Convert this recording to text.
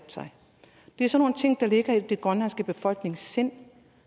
det er sådan nogle ting der ligger i den grønlandske befolknings sind